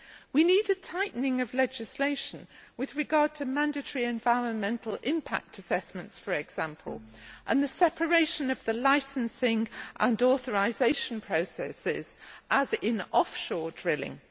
We need a tightening of legislation with regard to mandatory environmental impact assessments, for example, and the separation of the licensing and authorisation processes, as in offshore drilling.